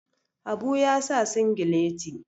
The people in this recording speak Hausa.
habu ya sa sigileti